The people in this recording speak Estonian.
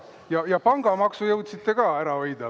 Ja pangamaksu jõudsite ka ära hoida.